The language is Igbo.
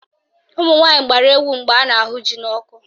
Ụmụnwaanyị gbara egwu mgbe a na-ahụ ji n'ọkụ